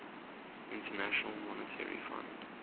international monetary fund